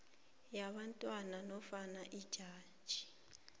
yabantwana nofana ijaji